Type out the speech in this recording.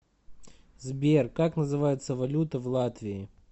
сбер как называется валюта в латвии